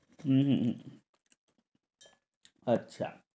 হম হম আচ্ছা।